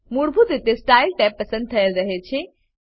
મૂળભૂત રીતે style tab પસંદ થયેલ રહે છે